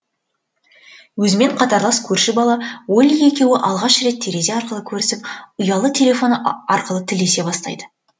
өзімен қатарлас көрші бала олли екеуі алғаш рет терезе арқылы көрісіп ұялы телефон арқылы тілдесе бастайды